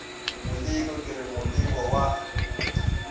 moleko ke re moleko wa